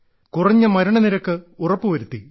കുറഞ്ഞ മരണനിരക്ക് ഉറപ്പുവരുത്തി